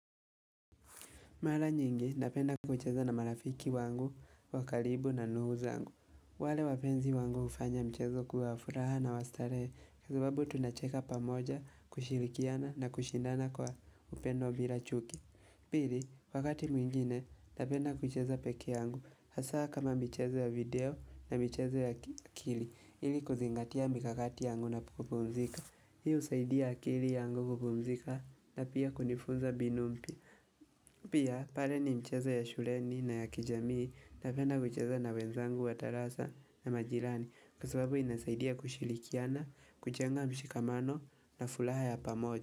Mara nyingi, napenda kucheza na marafiki wangu, wakalibu na ndugu zangu. Wale wapenzi wangu ufanya mchezo kuwa hafuraha na wastarehe. Kwasababu tunacheka pamoja, kushirikiana na kushindana kwa upendo bila chuki. Pili, wakati mwingine, napenda kucheza peke yangu. Hasa kama michezo ya video na mchezo ya akili. Ili kuzingatia mikakati yangu napokupumzika. Hii usaidia akili yangu kupumzika na pia kunifunza mbinu mpya. Pia pale ni mcheza ya shureni na ya kijamii napenda kucheza na wenzangu wa darasa na majirani Kwa sababu inasaidia kushilikiana, kuchenga mshikamano na fulaha ya pamoja.